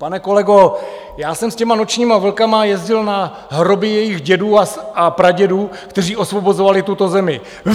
Pane kolego, já jsem s těmi Nočními vlky jezdil na hroby jejich dědů a pradědů, kteří osvobozovali tuto zemi.